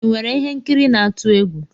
Ị nwere ihe nkiri n'atu egwu?